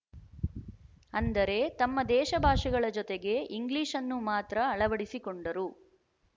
ಅಂದರೆ ತಮ್ಮ ದೇಶ ಭಾಷೆಗಳ ಜೊತೆಗೆ ಇಂಗ್ಲಿಶ್‌ನ್ನು ಮಾತ್ರ ಅಳವಡಿಸಿಕೊಂಡರು